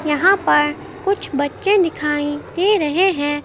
यहां पर कुछ बच्चे दिखाई दे रहे हैं।